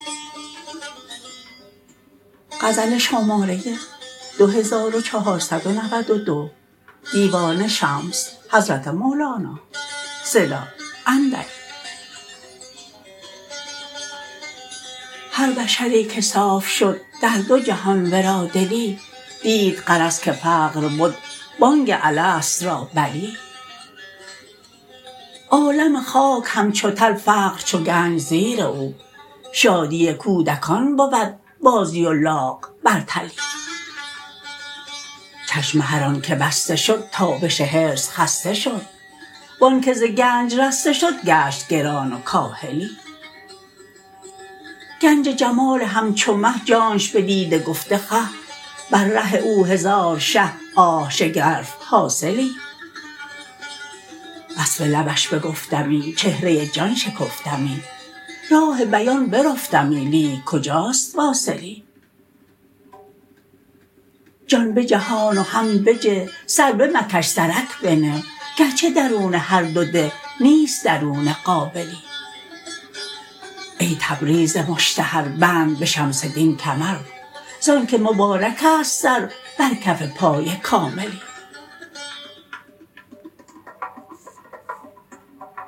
هر بشری که صاف شد در دو جهان ورا دلی دید غرض که فقر بد بانگ الست را بلی عالم خاک همچو تل فقر چو گنج زیر او شادی کودکان بود بازی و لاغ بر تلی چشم هر آنک بسته شد تابش حرص خسته شد و آنک ز گنج رسته شد گشت گران و کاهلی گنج جمال همچو مه جانش بدیده گفته خه بر ره او هزار شه آه شگرف حاصلی وصف لبش بگفتمی چهره جان شکفتمی راه بیان برفتمی لیک کجاست واصلی جان بجهان و هم بجه سر بمکش سرک بنه گرچه درون هر دو ده نیست درون قابلی ای تبریز مشتهر بند به شمس دین کمر ز آنک مبارک است سر بر کف پای کاملی